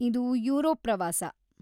ಇದು ಯೂರೋಪ್‌ ಪ್ರವಾಸ.